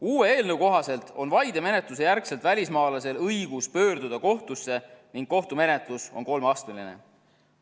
Uue eelnõu kohaselt on vaidemenetluse järgselt välismaalasel õigus pöörduda kohtusse ning kohtumenetlus on kolmeastmeline.